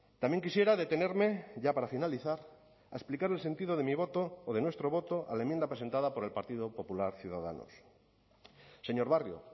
también quisiera detenerme ya para finalizar a explicar el sentido de mi voto o de nuestro voto a la enmienda presentada por el partido popular ciudadanos señor barrio